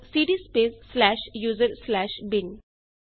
ਲਿਖੋ cd space slash user slash bin